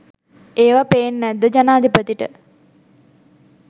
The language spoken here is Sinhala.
ඒව පේන් නැද්ද ජනාධිපතිට?